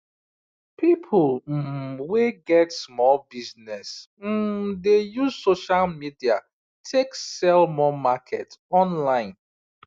people um wey get small business um dey use social media take sell more market online